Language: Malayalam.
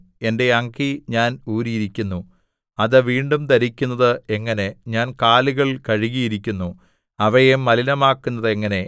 എന്റെ അങ്കി ഞാൻ ഊരിയിരിക്കുന്നു അത് വീണ്ടും ധരിക്കുന്നത് എങ്ങനെ ഞാൻ കാലുകൾ കഴുകിയിരിക്കുന്നു അവയെ മലിനമാക്കുന്നത് എങ്ങനെ